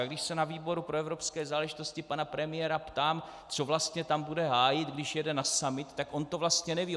A když se na výboru pro evropské záležitosti pana premiéra ptám, co vlastně tam bude hájit, když jede na summit, tak on to vlastně neví.